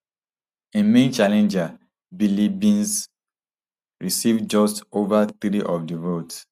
im main challenger biliebynze receive just ova three of di votes